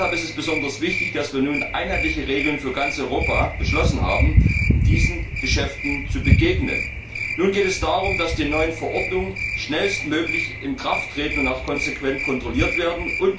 Deshalb ist es besonders wichtig, dass wir nun einheitliche Regeln für ganz Europa beschlossen haben, um diesen Geschäften zu begegnen. Nun geht es darum, dass die neuen Verordnungen schnellstmöglich in Kraft treten und auch konsequent kontrolliert werden.